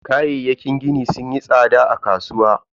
Kayayyakin gini sunyi tsada a kasuwa.